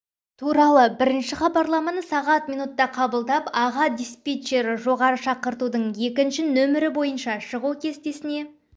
туралы бірінші хабарламаны сағат минутта қабылдап аға диспетчері жоғары шақыртудың екінші нөмірі бойынша шығу кестесіне